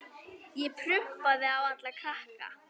Ég prumpa á alla krakka.